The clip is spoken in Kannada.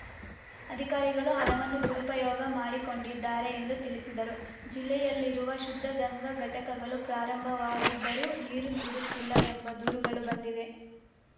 ಅಧಿಕಾರಿಗಳು ಹಣವನ್ನು ದುರುಪಯೋಗ ಮಾಡಿಕೊಂಡಿದ್ದಾರೆ ಎಂದು ತಿಳಿಸಿದರು ಜಿಲ್ಲೆಯಲ್ಲಿರುವ ಶುದ್ಧ ಗಂಗಾ ಘಟಕಗಳು ಪ್ರಾರಂಭವಾಗಿದ್ದರೂ ನೀರು ನೀಡುತ್ತಿಲ್ಲ ಎಂಬ ದೂರುಗಳು ಬಂದಿವೆ